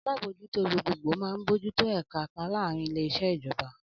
Alábòójútó gbogbogbò máa ń bójú tó ẹ̀ka kan láàárín ile-iṣẹ ijọba.